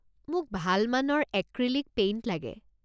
মোক ভাল মানৰ এক্ৰীলিক পেইণ্ট লাগে।